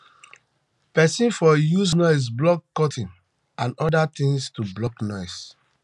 person for use um noise blocking curtain and oda things to block noise um